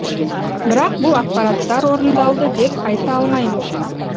бірақ бұл ақпараттар орындалды деп айта алмаймыз